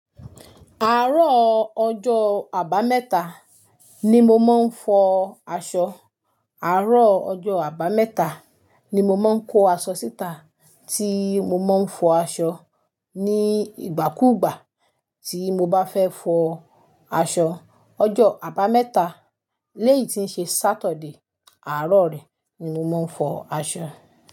Àárọ̀ ọjọ́ abameta ni mo máa ń fọ aṣọ. Àárọ̀ ọjọ́ abameta ni mo máa ń kó aṣọ síta tí mo máa ń fọ aṣọ ní ìgbàkúùgbà tí mo bá fẹ́ fọ aṣọ. Ọjọ́ abameta léyì tí ń ṣe Saturday, àárọ̀ rẹ ni mo máa ń fọ aṣọ.